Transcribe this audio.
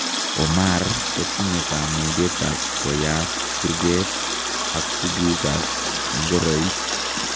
Omar kotinye kamugeet ap koyaat kurgeet ak tuguuk ak ngoroik